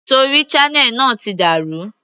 Torí channel náà ti dà rú.